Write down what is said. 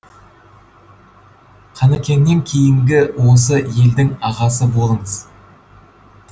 қынекеңнен кейінгі осы елдің ағасы болыңыз